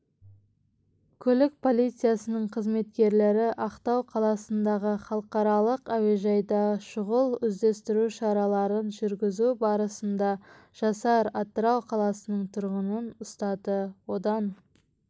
көлік полициясының қызметкерлері ақтау қаласындағы халықаралық әуежайдашұғыл-іздестіру шараларын жүргізу барысында жасар атырау қаласының тұрғынын ұстады одан